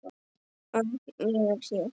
Örn, ég er hér